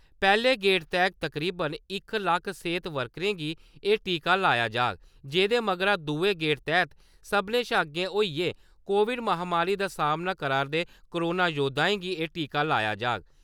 पैह्‌ले गेड़ तैह्त तकरीबन इक लक्ख सेह्त वर्करें गी एह् टीका लाया जाह्ग जेह्दे मगरा दुए गेड़ तैह्त सभनें शा अग्गे होइयै कोविड महामारी दा सामना करा'रदे कोरोना योद्धाएं गी एह् टीका लाया जाह्ग ।